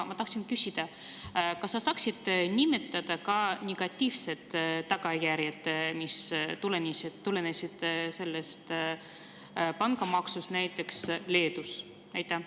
Aga kas sa saaksid nimetada ka negatiivseid tagajärgi, mis on tulenenud sellest pangamaksust näiteks Leedus?